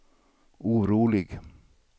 orolig